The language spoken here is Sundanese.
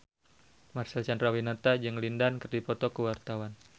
Marcel Chandrawinata jeung Lin Dan keur dipoto ku wartawan